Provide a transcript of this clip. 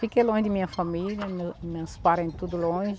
Fiquei longe de minha família, meus meus parens tudo longe.